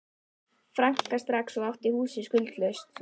franka strax og átt húsið skuldlaust.